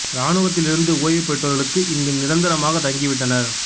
இராணுவத்தில் இருந்து ஓய்வு பெற்றவர்களும் இங்கு நிரந்தரமாகத் தங்கி விட்டனர்